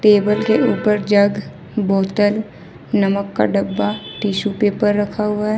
Table के ऊपर jug बोतल नमक का डब्बा टिशू पेपर रखा हुआ है ।